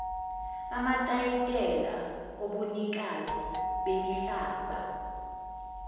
amatayitela obunikazi bemihlaba